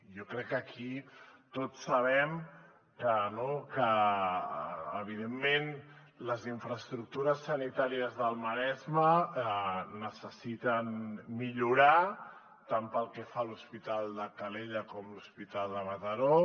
jo crec que aquí tots sabem que evidentment les infraestructures sanitàries del maresme necessiten millorar tant pel que fa a l’hospital de calella com a l’hospital de mataró